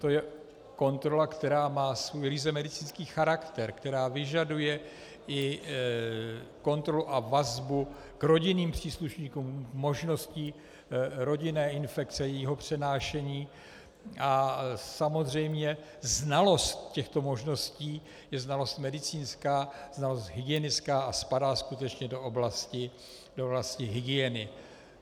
To je kontrola, která má svůj ryze medicínský charakter, která vyžaduje i kontrolu a vazbu k rodinným příslušníkům, možností rodinné infekce, jejího přenášení, a samozřejmě znalost těchto možností je znalost medicínská, znalost hygienická a spadá skutečně do oblasti hygieny.